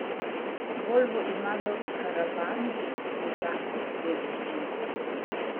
Volvo ima v karavanih bogato dediščino.